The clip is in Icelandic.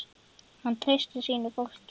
Hann treysti sínu fólki.